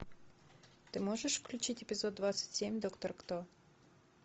ты можешь включить эпизод двадцать семь доктор кто